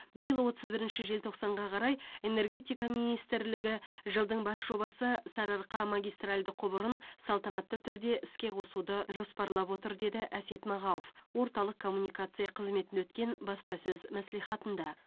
биыл отыз бірінші желтоқсанға қарай энергетика министрлігі жылдың бас жобасы сарыарқа магистральді құбырын салтанатты түрде іске қосуды жоспарлап отыр деді әсет мағауов орталық коммуникация қызметінде өткен баспасөз мәслихатында